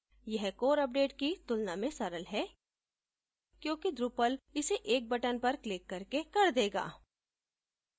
यह core update की तुलना में सरल है क्योंकि drupal इसे एक button पर click करके कर देगा